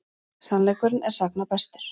Sannleikurinn er sagna bestur.